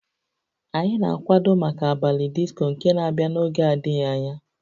Anyị na-akwado maka abalị disco nke na-abịa n'oge adịghị anya